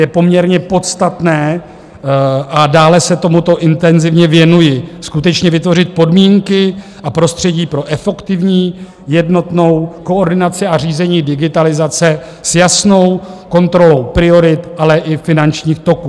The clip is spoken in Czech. Je poměrně podstatné - a dále se tomuto intenzivně věnuji - skutečně vytvořit podmínky a prostředí pro efektivní jednotnou koordinaci a řízení digitalizace s jasnou kontrolou priorit, ale i finančních toků.